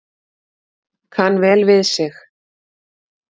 Kann vel við sig